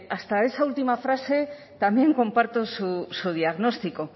hasta esa última frase también comparto su diagnóstico